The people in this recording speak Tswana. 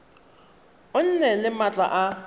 o nne le maatla a